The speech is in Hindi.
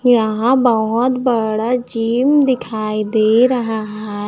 यहां बहोत बड़ा जिम दिखाई दे रहा--